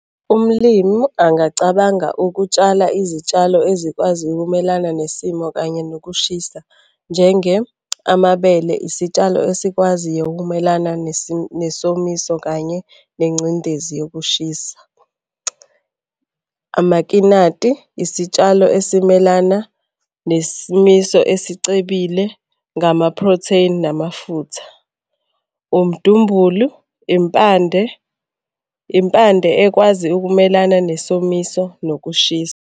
Umlimu angacabanga ukutshala izitshalo ezikwazi ukumelana nesimo kanye nokushisa njenge amabele isitshalo esikwaziyo ukumelana nesomiso kanye nengcindezi yokushisa. Amakinati, isitshalo esimelana nesimiso esicebile ngama-protain namafutha. Umdumbulu impande, impande ekwazi ukumelana nesomiso nokushisa.